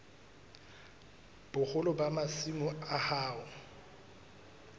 boholo ba masimo a hao